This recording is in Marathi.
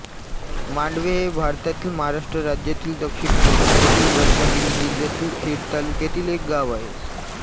मांडवे हे भारतातील महाराष्ट्र राज्यातील दक्षिण कोकणातील रत्नागिरी जिल्ह्यातील खेड तालुक्यातील एक गाव आहे